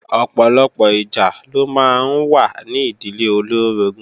Ọ̀pọ̀lọpọ̀ ìjà ló máa ń wà ní ìdílé olóorogún